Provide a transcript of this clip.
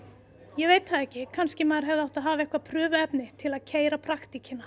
ég veit það ekki kannski maður hefði átt að hafa eitthvað til að keyra